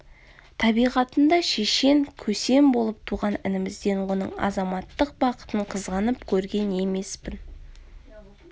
табиғатында шешен көсем болып туған інімізден оның азаматтық бақытын қызғанып көрген емеспін